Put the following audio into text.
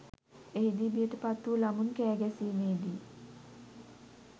එහිදී බියට පත්වූ ළමුන් කෑ ගැසීමේදී